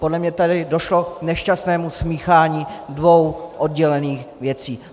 Podle mě tady došlo k nešťastnému smíchání dvou oddělených věcí.